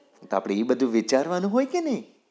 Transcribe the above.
તો આપડે એ બધું વિચારવાનું હોય કે નઈ?